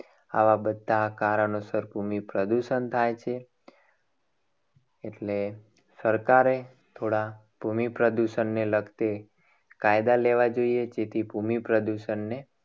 આવા બધા કારણોસર ભૂમિ પ્રદૂષણ થાય છે. એટલે સરકારે થોડા ભૂમિ પ્રદૂષણને લગતી લગતી કાયદા કાયદા લેવા જોઈએ. જેથી ભૂમિ પ્રદૂષણને